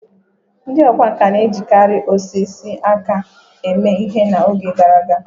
Ndị ọkwá nkà na-ejikarị osisi aka eme ihe na oge gara aga